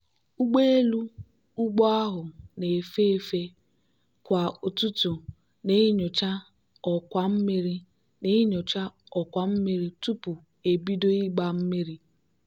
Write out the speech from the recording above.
ụgbọelu ugbo ahụ na-efe efe kwa ụtụtụ na-enyocha ọkwa mmiri na-enyocha ọkwa mmiri tupu ebido ịgba mmiri.